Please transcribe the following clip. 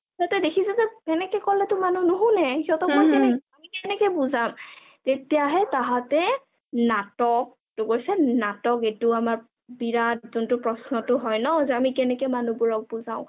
সিহতে দেখিছে যে সেনেকে ক'লেটো মানুহ নুসুনে সিহতক আমি কেনেকে বুজাম তেতিয়া হে তাহাতে নাতক কৈছে এইটো আমাৰ বিৰাত যোন্তো প্ৰশ্নটো হয় ন আমি কেনেকে বুজাও